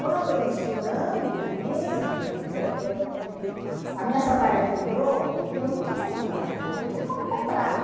Quando, estudando mesmo, eu eu a minha sandália quebrou, e eu não tinha sandália, né, não tinha como comprar